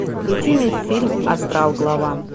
включи мне фильм астрал глава